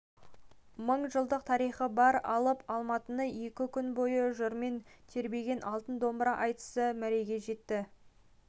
мың жылдық тарихы бар алып алматыны екі күн бойы жырмен тербеген алтын домбыра айтысы мәреге жетті